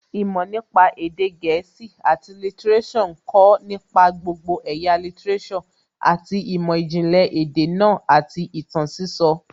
Ìmọ̀ nípa èdè gẹ̀ẹ́sì àti lítíréṣọ̀ ń kọ̀ nípa gbogbo ẹ̀yà lítíréṣọ̀ àti ìmọ̀ ìjìnlẹ̀ èdè náà àti ìtàn sísọ